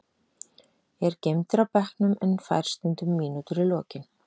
Er geymdur á bekknum en fær stundum mínútur í lokin.